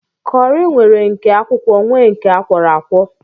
Kọri nwere nke akwụkwọ nwee nke akwọro akwọ